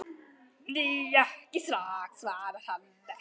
Nei, ekki strax, svarar hann.